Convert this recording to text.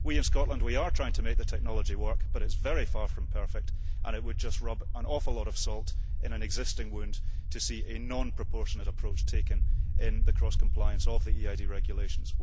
We in Scotland are trying to make the technology work, but it is very far from perfect and it would just rub an awful lot of salt into an existing wound to see a non proportionate approach taken in the cross compliance of the EID regulations.